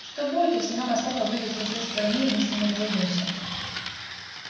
что будет если мама с папой выйдут не с этой стороны и мы с ними разойдёмся